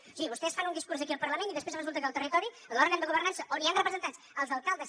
o sigui vostès fan un discurs aquí al parlament i després resulta que al territori l’òrgan de governança on hi han representats els alcaldes